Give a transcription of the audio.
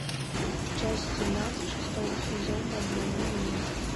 часть семнадцать шестого сезона обмани меня